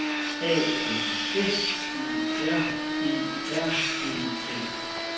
A N F Ø R E R E N